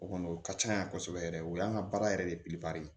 O kɔni o ka can yan kosɛbɛ yɛrɛ o y'an ka baara yɛrɛ de ye